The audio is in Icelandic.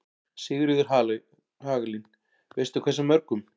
Sigríður Hagalín: Veistu hversu mörgum?